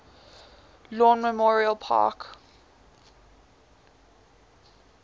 lawn memorial park